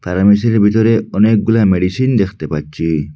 ফার্মেসির ভেতরে অনেকগুলা মেডিসিন দেখতে পাচ্ছি।